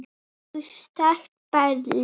Búsett í Berlín.